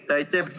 Aitäh!